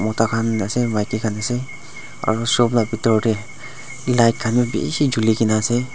mota khan ase maki khan ase aro shop la bitor tae light khan bi bishi julikaena ase.